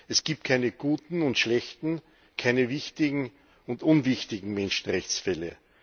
Es gibt keine guten und schlechten, keine wichtigen und unwichtigen Menschenrechtsfälle.